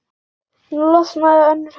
Nú losnaði önnur höndin.